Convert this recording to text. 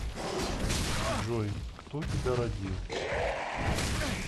джой кто тебя родил